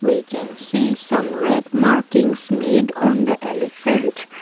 we can see some red markings made on the elephant.